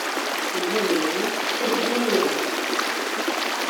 елене сергеевне